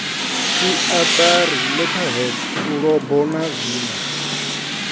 siatari letterheads fulubo na zwinwe